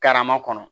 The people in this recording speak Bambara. Karama kɔnɔ